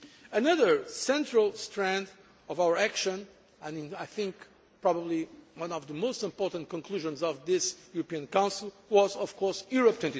Another central strand of our action, and I think probably one of the most important conclusions of this European Council, was, of course, Europe